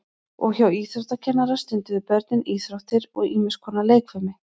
Og hjá íþróttakennara stunduðu börnin íþróttir og ýmis konar leikfimi.